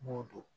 N b'o dɔn